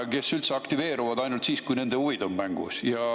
Nad üldse aktiveeruvad ainult siis, kui nende huvid on mängus.